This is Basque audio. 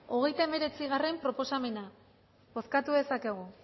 hogeita hemeretzigarrena proposamena bozkatu dezakegu